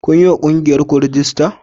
Kun yi wa ƙungiyarku rajista?